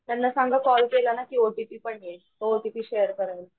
त्यांना सांगा कॉल केलाना की ओटीपी पण येईल तो ओटीपी शेअर करायला .